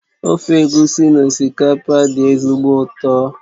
Ofe egusi na osikapa dị ezigbo ụtọ